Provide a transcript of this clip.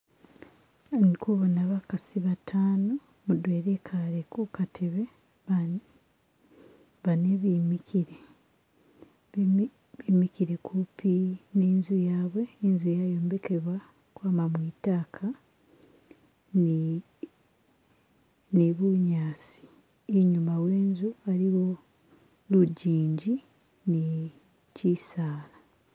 Indi kubona bakasi batano, mudwena ikaale kukateebe bane bimikile, bimikile kumpi n'inzu yabwe, inzu yayombekebwa ukwama mwitaaka ni bunyasi inyuma we'inzu waliyo lujinji ni shisaala.